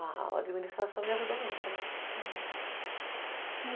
A administração me ajudou muito, né? Aham,